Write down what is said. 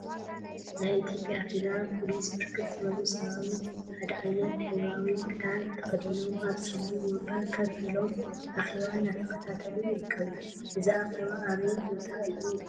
ናይ ኢትዮጵያ ፌደራል ፖሊስ ብርክት ዝበሉ ሰራዊት ሓደ ዓይነት ሕብራዊ ክዳን ተከዲኖም አብ ፀሊም ወንበር ኮፍ ኢሎም አኬባ እናተከታተሉ ይርከቡ፡፡ እዚ አኬባ አበይ ቦታ እዩ?